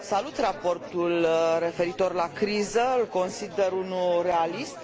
Salut raportul referitor la criză, îl consider unul realist.